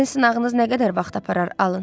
Sizin sınağınız nə qədər vaxt aparır alın?